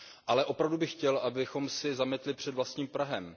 Ale opravdu bych chtěl, abychom si zametli před vlastním prahem.